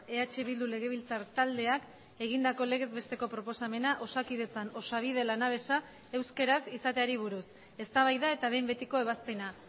eh bildu legebiltzar taldeak egindako legez besteko proposamena osakidetzan osabide lanabesa euskaraz izateari buruz eztabaida eta behin betiko ebazpena